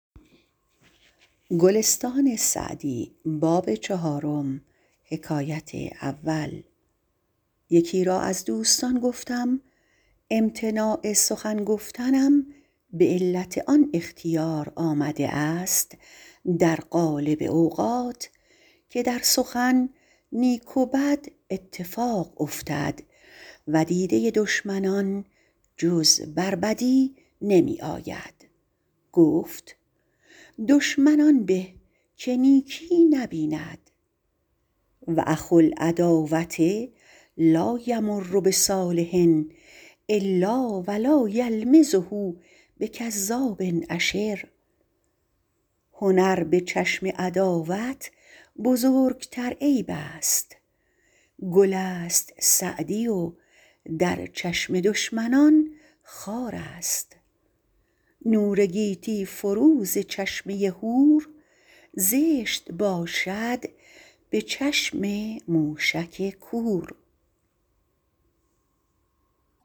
یکی را از دوستان گفتم امتناع سخن گفتنم به علت آن اختیار آمده است در غالب اوقات که در سخن نیک و بد اتفاق افتد و دیده دشمنان جز بر بدی نمی آید گفت دشمن آن به که نیکی نبیند و اخو العداوة لا یمر بصالح الا و یلمزه بکذاب اشر هنر به چشم عداوت بزرگتر عیب است گل است سعدی و در چشم دشمنان خار است نور گیتی فروز چشمه هور زشت باشد به چشم موشک کور